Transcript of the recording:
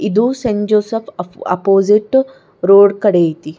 ಇದು ಸೇಂಜೋಸಫ್ ಆಪೊ opposite road ಕಡಿ ಆಯ್ತಿ.